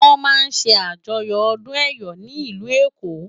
Wòn má n sè ájòyò òdún èyò ni ilú Ékó